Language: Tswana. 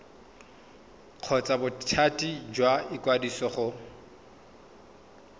kgotsa bothati jwa ikwadiso go